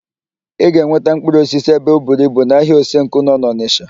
Ị ga-enweta mkpụrụosisi ebe oburu ibu n'ahịa Osenkụ nọ n'Ọnịsha.